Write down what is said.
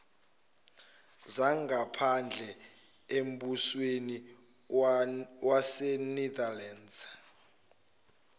zangaphandle embusweni wasenetherlands